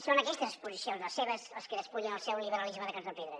són aquestes exposicions les seves les que despullen el seu liberalisme de cartó pedra